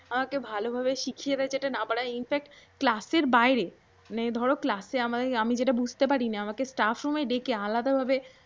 আমাকে ভালো ভাবে শিখিয়ে দেয় যেটা না বলা in fact ক্লাসের বাইরে মানে ধরো আমি যেটা বুঝতে পারিনা আমাকে stuff room এ কে আলাদা ভাবে